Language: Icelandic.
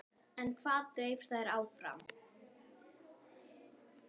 En hvað dreif þær áfram?